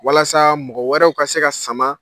Walasa mɔgɔ wɛrɛw ka se ka sama.